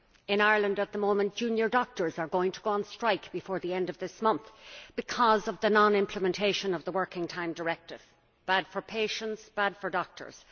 In Ireland at the moment, junior doctors are going to strike before the end of this month over the non implementation of the Working Time Directive this is bad for patients and bad for doctors.